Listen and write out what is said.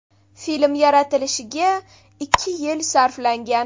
Film yaratilishiga ikki yil sarflangan.